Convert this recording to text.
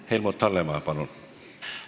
Helmut Hallemaa, palun!